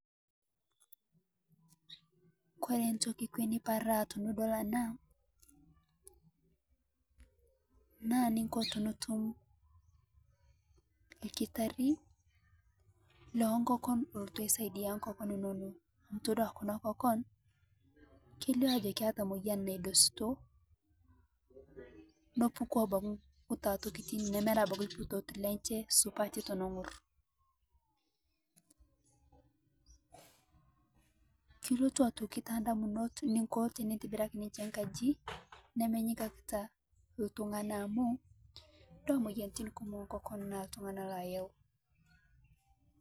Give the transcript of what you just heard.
Kore ntokii ekwee nipaaraa tinidol ena naa niinko tinituum lkitaari lo nkokoon olotuu aisaidia nkokoon enono. Etodua kuna nkokoon etodua ajo keileo ajo keeta moyian naidosutoo neepukuu abaki nkutuaa ntokitin nemeera abaki lkitoot lenchee supati tono ng'orr. Kiretuu aitokii te ndamunot niinko tinintibiraki ninchee nkaaji nimenyikakita ltung'ana amu iidua moyianitin kumook enkokoon naa ltung'ana laayau.